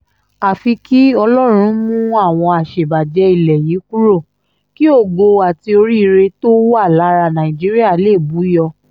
àfi kí ọlọ́run mú àwọn àṣebàjẹ́ ilẹ̀ yìí kúrò kí ògo àti oríire tó wà lára nàìjíríà lè bù yọ